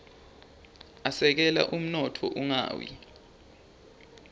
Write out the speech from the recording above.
asekela umnotfo ungawi